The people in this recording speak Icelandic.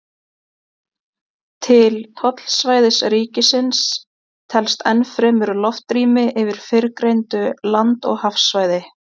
til tollsvæðis ríkisins telst enn fremur loftrými yfir fyrrgreindu land og hafsvæði